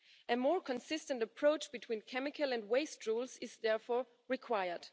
A more consistent approach between chemical and waste rules is therefore required.